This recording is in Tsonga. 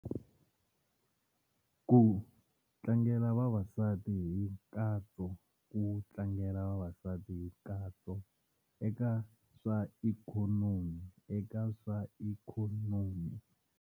Ku tlangela vavasati hi nkatso ku tlangela vavasati hi nkatso eka swa ikhonomi eka swa ikhonomi.